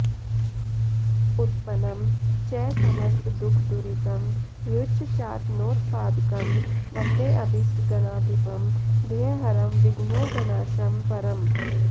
उत्पन्नं च समस्तदुःखदुरितं ह्युच्चाटनोत्पादकं वन्देऽभीष्टगणाधिपं भयहरं विघ्नौघनाशं परम्